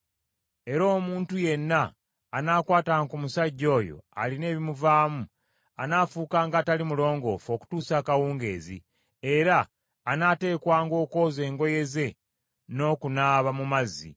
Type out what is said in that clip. Era omuntu yenna anaakwatanga ku musajja oyo alina ebimuvaamu, anaafuukanga atali mulongoofu okutuusa akawungeezi, era anaateekwanga okwoza engoye ze n’okunaaba mu mazzi.